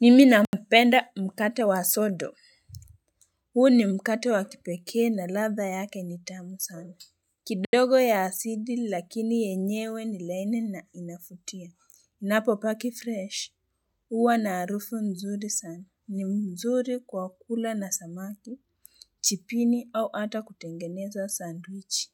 Nimi nampenda mkate wa sodo huu ni mkate wa kipekee na latha yake ni tamu sana kidogo ya asidi lakini yenyewe ni laini na inafutia inapo paki fresh huwa na arufu mzuri sana ni mzuri kwa kula na samaki chipini au ata kutengeneza sandwichi